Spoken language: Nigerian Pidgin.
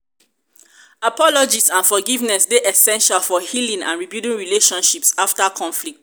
apologies and forgiveness dey essential for healing and rebuilding relationships after conflicts.